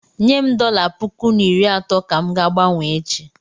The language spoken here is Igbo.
Nyem dọla puku na iri atọ ka m ga-gbanwee echi.